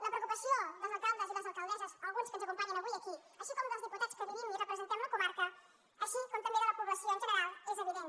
la preocupació dels alcaldes i les alcaldesses alguns dels quals ens acompanyen avui aquí com dels diputats que vivim i representem la comarca com també de la població en general és evident